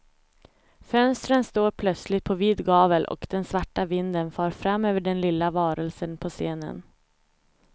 Fönstren står plötsligt på vid gavel och den svarta vinden far fram över den lilla varelsen på scenen.